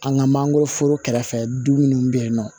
An ka mangoroforo kɛrɛfɛ du munnu be yen nɔ